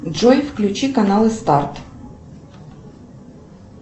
джой включи каналы старт